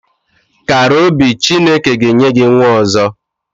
Kàrà obi Chineke ga enye gị nwa ọzọ